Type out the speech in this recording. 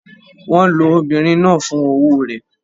Wọ́n lo obìnrin náà fún owó rẹ̀?